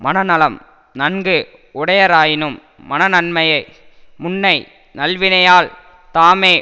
மனநலம் நன்கு உடையராயினும் மனநன்மையை முன்னை நல்வினையால் தாமே